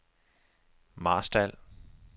Marstal